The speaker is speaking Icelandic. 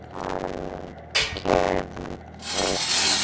Sem hann gerði.